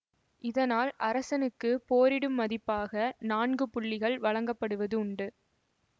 இதனால் அரசனுக்கு போரிடும் மதிப்பாக நான்கு புள்ளிகள் வழங்கப்படுவது உண்டு